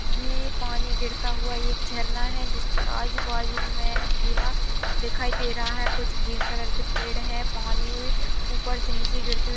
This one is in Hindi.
ये पानी गिरता हुआ एक झरना है जिसके आजू-बाजू में भूरा दिखाई दे रहा है कुछ ग्रीन कलर के पेड़ हैं पानी में ऊपर से नीचे गिरते हुए --